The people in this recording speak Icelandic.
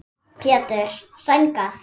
Pétur: Sængað?